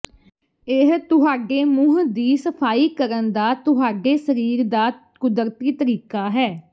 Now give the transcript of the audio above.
ਇਹ ਤੁਹਾਡੇ ਮੂੰਹ ਦੀ ਸਫ਼ਾਈ ਕਰਨ ਦਾ ਤੁਹਾਡੇ ਸਰੀਰ ਦਾ ਕੁਦਰਤੀ ਤਰੀਕਾ ਹੈ